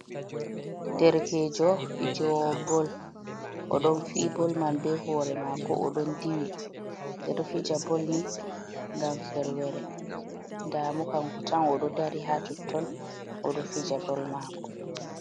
Derkejo, fijewo Bol oɗo fi bol man be hore mako od ɗon diwi, ɓedo fija bolni gam ferwere, damo kanko tan, oɗo dari ha totton oɗo fija bol mako.